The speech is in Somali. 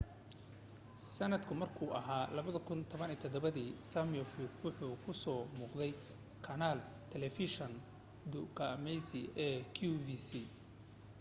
sanadka markuu ahaa 2017 simioff wuxuu ku so muuqday kanaal taleefeshin dukaamaysi ee qvc